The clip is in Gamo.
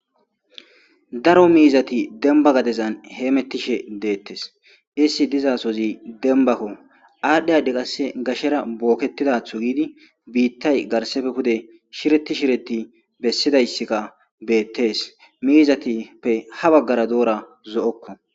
Daro mizathi demba gadezan hemethishe dethess. Isthi dizzasohozi dembakako adhi adhidi qasseka gashe bokethizatho gidi bithay garsappe pude shirethi shirethi besizayssika bethise mizathi ha baggara Dora zoo'ko.